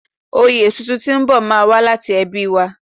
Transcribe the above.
Oyè ọ̀tún tuntun tí ń bò má a wá láti ẹbí wa